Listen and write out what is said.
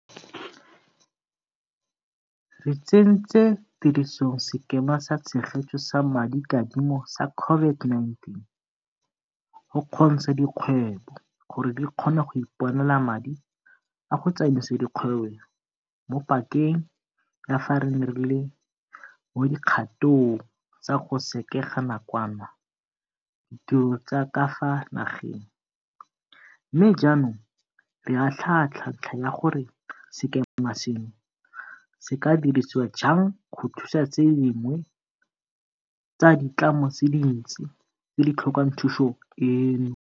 Re tsentse tirisong Sekema sa Tshegetso sa Madikadimo sa COVID-19 go kgontsha dikgwebo gore di kgone go iponela madi a go tsamaisa dikgwebo mo pakeng ya fa re ne re le mo dikgatong tsa go sekega nakwana ditiro tsa ka fa nageng, mme jaanong re atlhaatlhaa ntlha ya gore sekema seno se ka dirisiwa jang go thusa tse dingwe tsa ditlamo tse dintsi tse di tlhokang thuso eno.